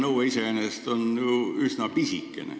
Nõue iseenesest on ju üsna pisikene.